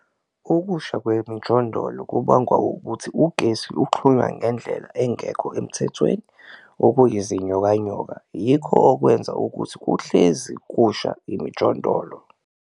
Ukusha kwemjondolo kubangwa ukuthi ugesi uxhunywa ngendlela engekho emthethweni okuyizinyokanyoka, yikho okwenza ukuthi kuhlezi kusha imijondolo.